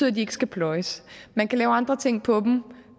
at de ikke skal pløjes man kan lave andre ting på dem